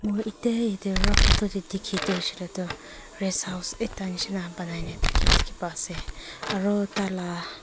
aru etia etia rough photo te dikhi tu hoise ley tu rest house ekta nisna banai ne thaki dikhi pai ase aru tah la--